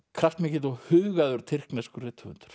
kraftmikill og hugaður tyrkneskur rithöfundur